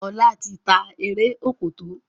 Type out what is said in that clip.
Ola tí tá Eré Òkòtó.